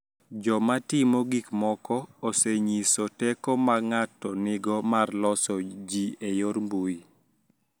Joma timo gik moko osenyiso teko ma ng�ato nigo mar loso ji e yor mbui.